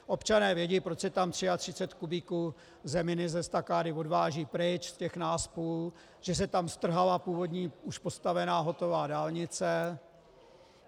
Občané vědí, proč se tam 33 kubíků zeminy z estakády odváží pryč z těch náspů, že se tam strhala původní už postavená hotová dálnice.